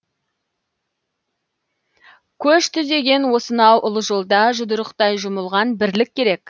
көш түзеген осынау ұлы жолда жұдырықтай жұмылған бірлік керек